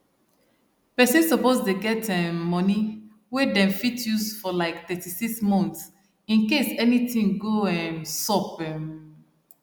person suppose dey get um money wey them fit use for like 36 months incase anything go um sup um